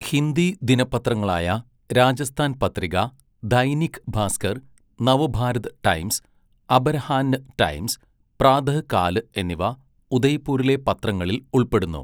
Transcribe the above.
ഹിന്ദി ദിനപത്രങ്ങളായ Rajasthan Patrika, Dainik Bhaskar, Navbharat Times, Aparahn Times, Pratahkal എന്നിവ ഉദയ്പൂരിലെ പത്രങ്ങളിൽ ഉൾപ്പെടുന്നു.